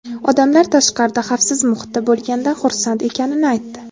odamlar tashqarida xavfsiz muhitda bo‘lganidan xursand ekanini aytdi.